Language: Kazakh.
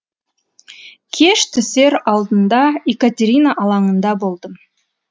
кеш түсер алдында екатерина алаңында болдым